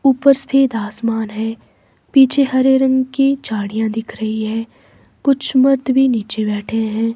ऊपर सफेद आसमान है पीछे हरे रंग की झाड़ियां दिख रही है कुछ मर्द भी नीचे बैठे हैं।